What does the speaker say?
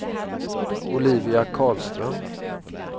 Olivia Karlström